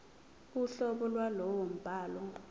uhlobo lwalowo mbhalo